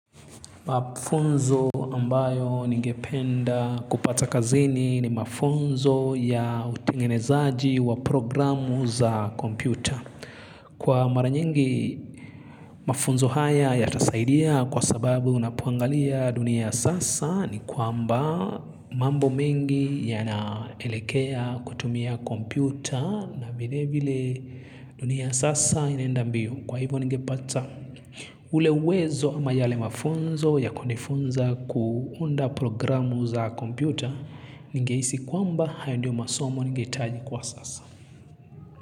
Mafunzo ambayo ningependa kupata kazini ni mafunzo ya utengenezaji wa programu za kompyuta. Kwa mara nyingi mafunzo haya yatasaidia kwa sababu unapoangalia dunia sasa ni kwa amba mambo mengi ya naelekea kutumia kompyuta na vilevile dunia sasa inaenda mbio. Kwa hivyo ningepata ule wezo ama yale mafunzo ya kunifunza kuunda programu za kompyuta ninhehisi kwamba hayo ndio masomo ningehitaji kwa sasa.